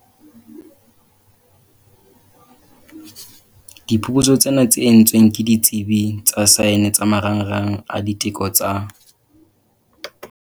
Diphuputsu tsena, tse entsweng ke ditsebi tsa saene tsa Marangrang a Diteko tsa.